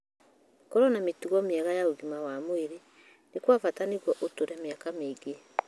Korũo na mĩtugo mĩega ya ũgima wa mwĩrĩ nĩ kwa bata nĩguo ũtũũre mĩaka mĩingĩ.